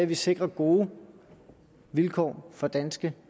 vi sikrer gode vilkår for danske